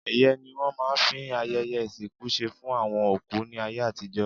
Ẹ̀yẹ́ ni wọ́n máa ń fi ayẹyẹ ìsìnkú ṣe fún àwọn òkú ní ayé àtijọ́.